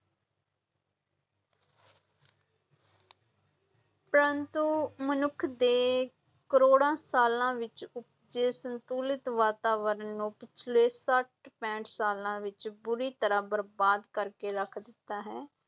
ਪਰੰਤੂ ਮਨੁੱਖ ਦੇ ਕਰੋੜਾਂ ਸਾਲਾਂ ਵਿੱਚ ਉਪਜੇ ਸੰਤੁਲਿਤ ਵਾਤਾਵਰਨ ਨੂੰ ਪਿਛਲੇ ਛੱਠ ਪੈਂਹਠ ਸਾਲਾਂ ਵਿਚ ਬੁਰੀ ਤਰ੍ਹਾਂ ਬਰਬਾਦ ਕਰਕੇ ਰੱਖ ਦਿੱਤਾ ਹੈ।